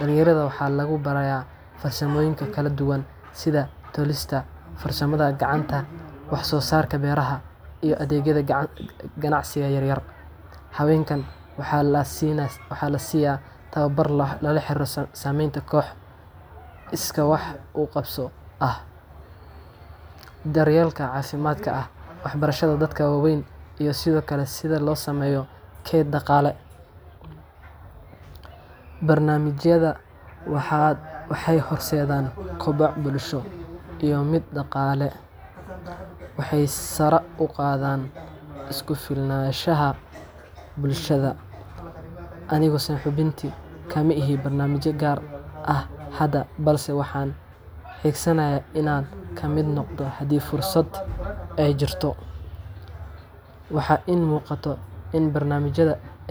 dalinyaarada waxaa lagu bara farsamoyinka kala duwan sitha tolista farsamaada gacanta wax sosarka beeraha iyo adhegyaada ganacsiga yar yar hawenkan waxaa lasiya tawabar xarirsan samenta iska wax uqabso ah, daryelka cafimaadka ah wax barashaada dadka wawen iyo sitha losameyo daqale, barnamijaada waxee horsedan kobac bulsho iyo miid daqale waxee sara uqadhan isku filnashaha bulshaada anigo saxibinti kamaihi barnamija gar ah balse waxan adhegsanaya in an kamiid noqdo hadii fursaad ee jirto waxaa in muqato in barnamijaadu.